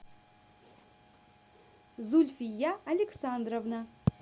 зульфия александровна